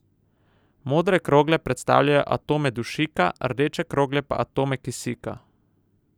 Modre krogle predstavljajo atome dušika, rdeče krogle pa atome kisika.